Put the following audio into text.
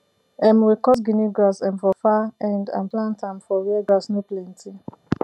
um we cut guinea grass um from far end and plant am for where grass no plenty